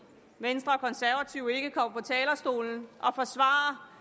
venstre og de konservative ikke går på talerstolen og forsvarer